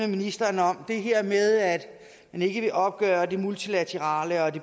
ministeren om det er det her med at man ikke vil opgøre det multilaterale og